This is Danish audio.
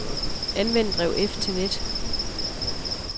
Anvend drev F til net.